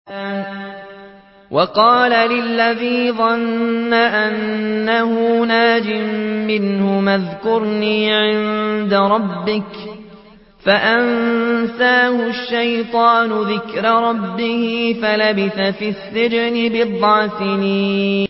وَقَالَ لِلَّذِي ظَنَّ أَنَّهُ نَاجٍ مِّنْهُمَا اذْكُرْنِي عِندَ رَبِّكَ فَأَنسَاهُ الشَّيْطَانُ ذِكْرَ رَبِّهِ فَلَبِثَ فِي السِّجْنِ بِضْعَ سِنِينَ